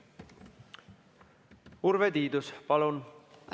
Urve Tiidus, palun!